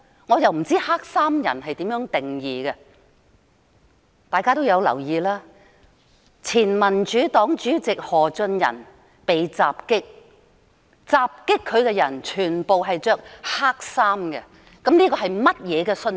"我不知道怎樣定義黑衣人，大家也留意到，前民主黨主席何俊仁被襲擊，襲擊他的人全部穿黑衣，請問這是甚麼信息？